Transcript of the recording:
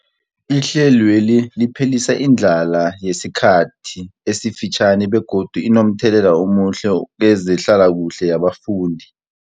Ihlelweli liphelisa indlala yesikhathi esifitjhani begodu linomthelela omuhle kezehlalakuhle yabafundi.